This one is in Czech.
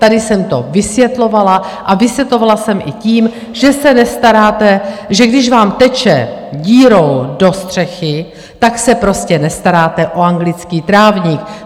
Tady jsem to vysvětlovala a vysvětlovala jsem i tím, že se nestaráte, že když vám teče dírou do střechy, tak se prostě nestaráte o anglický trávník.